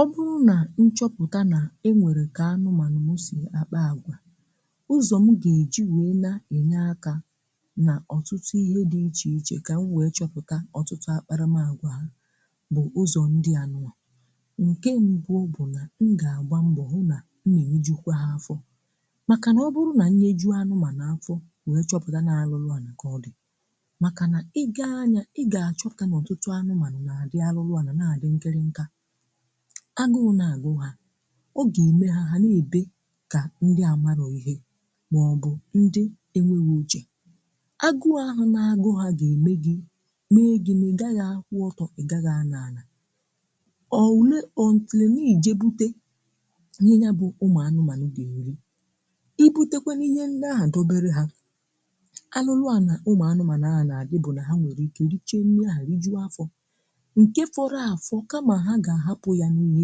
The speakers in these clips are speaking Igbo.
Ọ bụrụ̀ nà nchọpụtà na e nwere ka anụmanụ̀ m si akpà agwà, ụzọ̀ m ga-eji wee na-enye àkà nà ọtụtụ ihe dị iche ichè ka m wee chọpụtà ọtụtụ akparà m agwà bụ̀ ụzọ̀ ndị anụmà, nke mbu bụ̀na m ga-agbà mbọ̀ hụ nà m na-eyejukwà ha afọ̀, makà na ọ bụrụ nà nyeju anụmànụ̀ afọ̀ wee chọpụtà na arụlụ̀ ànà ka ọ dị̀ makà nà ị gaà anya ị ga-achọpụtà na ọtụtụ̀ anụmanụ̀ na-adị̀ arụlụ̀ àna na-adị̀ nkėrị̀ nkà, agụ na-agụ hà o ga-eme ha ha nà-ebe kà ndị amarọ̀ ihe maọ̀bụ̀ ndị enwèhò uchè, agụ ahụ̀ na-agụ hà ga-emè gị mee gi na ị gaghị̀ akwụ ọtọ̀ị gaghị̀ anó anà ọ wu le until nà ije bute Ihe nya bụ̀ ụmụ̀ anụmànụ̀ ga-erì, i butekwanụ ihe ndị ahụ̀ dobere ha arụrụ̀ anà ụmụ̀ anụmànụ na dị bụ̀ nà ha nwere ike riche nri áhụ rijuo afọ̀ nkè fọrọ afọ̀ kama ha ga ahapụ ya n'ihe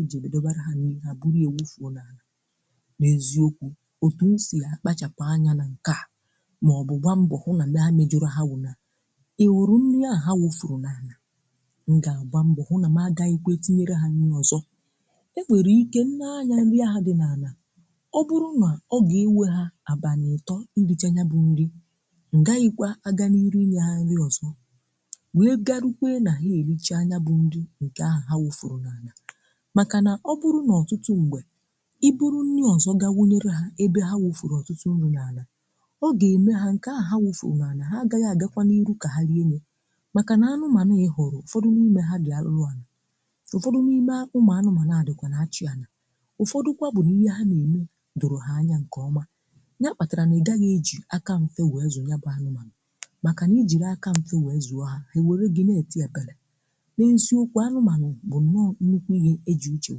eji dobarà ha nri ha buru ya wufuo n’ana. N’eziokwu̇ otù si ya akpachapụ̀ anya nà nke à maọ̀bụ̀ gbaa mbọ hụ na mee e mejọ̀rọ̀ ha wụ̀ na eweru nri áhụ ha wufuru n’ana, m̀ ga-agba mbọ hụ na ma gaghìkwe tinyere ha nri ọzọ.̀ E nwere ike nee anya nri ahà dị n’anà ọ bụrụ nà ọ ga-ewe ha abànị atọ irichà nya bụ̀ nrì, ngaghìkwa agà n’iru ịnye ha nrì ọzọ̀ wee ga rukwe nà ha erichà nya bụ̀ nri nke ahụ̀ ha wufuru n’ana maka nà ọ bụrụ n’ọtụtụ mgbè, i buru nni ọzọ ga wunyere ha ebe ha wụfụrụ ọtụtụ nri n’ana ọ ga-eme ha nke ahụ ha wụfụrụ na ana ha agaghị agakwa n’ihu ka ha rie ya maka nà anụmanụ a ị hụrụ ụfọdụ n’ime ha dị arụrụ ana, ụfọdụ n’ime ụmụ anụmanụ a dị kwana achị ana, ụfọdụ kwa bụ na ihe ha na-eme dọrọ ha anya nke ọma nya kpatara na ị gaghị eji aka mfe wee zụ ya bụ anụmanụ maka nà ijiri aka mfe wee zụo ha ha ewere gị na-eti epele. N'eziokwu anụmanụ bú nọ nnukwu ihe eji uche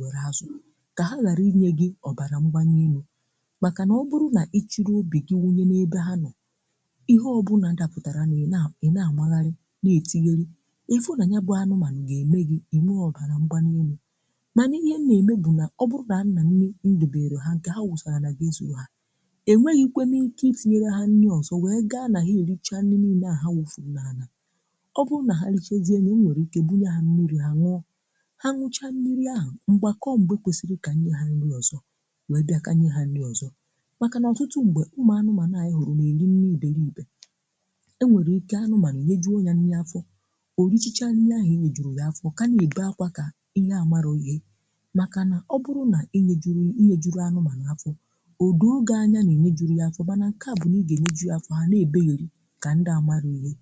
wéru azu ka ha gharụ inye gì ọbana mgbani élú maka na ọ bụrụ̀ na ichirì obì gi wunyè n’ebe ha nọ,̀ ihe ọ bụ na dapụtarà nú ị na, ị na-amagharị̀ na-etigherì ịfụ̀ na nyabụ̀ anụmànù ga-eme gì inwe ọbȧna mgbani élú manà ihe m na-eme bụ̀ nà ọ bụrụ na a na nni nduberu ha nke ha wụsalà nà ga-ezùru ha, e nweghì kwe m ike itenyere ha nni ọzọ̀ wee gaa nà ha ericha nni niine àhụ ha wụfụrụ nà anà, ọ bụrụ̀ nà ha richezie nni e nwere m ike bunyè ha mmiri ha nnọ, ha nnọcha mmiri ahụ̀ mgbakọọ ṁgbe kwesiri ka nye ha nni ọzọ̀ wee bịaka nye ha nni ọzọ. Maka nà ọtụtụ ṁgbe ụmụ anụmanụ̀ a ị hụrụ na-eri nni ibere ibè e nwere ike anụmanụ̀ inye jụọ ya nni afọ̀ o richacha nni ahụ e nyejuru ya afọ̀ ka na-ebe akwa ka ihe amarọ ihè maka nà ọ bụrụ na inye jụrụ enye jụrụ ọ anụmanụ̀ afọ̀ ọ doo gị anya na-inye juru ya afọ̀ manà nke à bụ̀ na e ga inye jụ ya afọ̀ ha na-ebegheri ka ndị amarụ ihe.